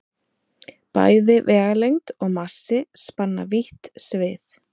Bæði vegalengd og massi spanna vítt svið.